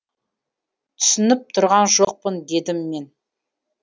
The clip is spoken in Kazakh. түсініп тұрған жоқпын дедім мен